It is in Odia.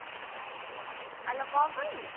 ଆଲୋ କଣ ପାଇଁ?